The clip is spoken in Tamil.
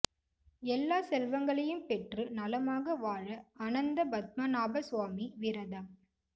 எல்லா செல்வங்களையும் பெற்று நலமாக வாழ அனந்த பத்மநாப சுவாமி விரதம்